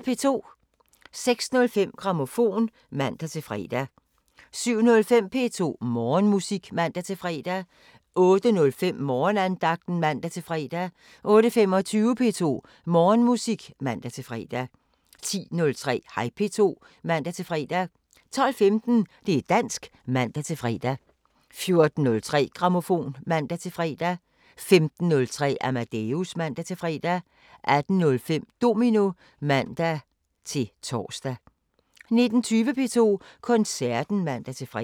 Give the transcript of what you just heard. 06:05: Grammofon (man-fre) 07:05: P2 Morgenmusik (man-fre) 08:05: Morgenandagten (man-fre) 08:25: P2 Morgenmusik (man-fre) 10:03: Hej P2 (man-fre) 12:15: Det´ dansk (man-fre) 14:03: Grammofon (man-fre) 15:03: Amadeus (man-fre) 18:05: Domino (man-tor) 19:20: P2 Koncerten (man-fre)